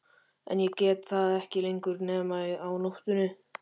En ég get það ekki lengur nema á nóttunni.